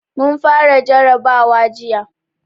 Mun fara jarrabawa jiya.